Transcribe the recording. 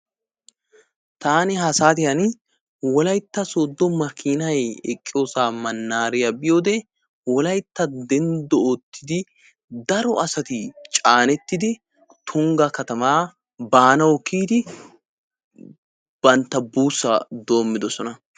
taani ha saatiyaani wolayitta sooddo makiinay eqqiyoosaa mannaariyaa biyoode wolayitta denddo oottidi daro asati caanettidi tungga katamaa baanawu kiyidi bantta buussaa doommidosona.